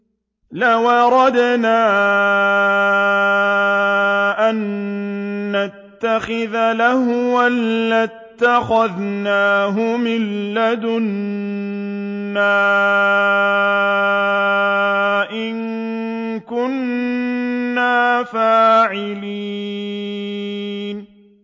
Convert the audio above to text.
لَوْ أَرَدْنَا أَن نَّتَّخِذَ لَهْوًا لَّاتَّخَذْنَاهُ مِن لَّدُنَّا إِن كُنَّا فَاعِلِينَ